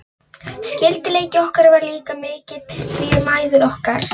Skyldleiki okkar var líka mikill, því mæður okkar